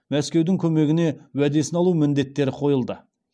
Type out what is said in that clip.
мәскеудің көмегіне уәдесін алу міндеттері қойылды